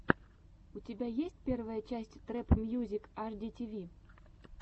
у тебя есть первая часть трэп мьюзик аш ди ти ви